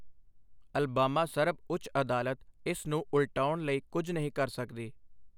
Alabama ਸਰਬ ਉੱਚ ਅਦਾਲਤ ਇਸ ਨੂੰ ਉਲਟਾਉਣ ਲਈ ਕੁਝ ਨਹੀਂ ਕਰ ਸਕਦੀ।